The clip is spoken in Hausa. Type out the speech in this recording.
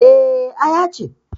Eh, Aya ce